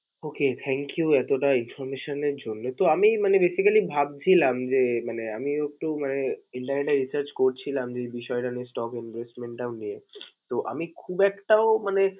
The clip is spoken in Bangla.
Okay, thank you এতোটা information এর জন্য। তো আমি মানে basically ভাবছিলাম যে, মানে আমি একটু মানে internet এ research করছিলাম যে এই বিষয় টা নিয়ে, stock investment টাও নিয়ে। তো, আমি খুব একটাও মানে